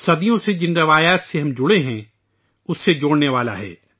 صدیوں سے جن روایات سے ہم وابستہ ہیں ان سے جوڑنے والا ہے